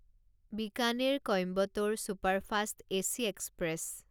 Bikaner Coimbatore superfast AC express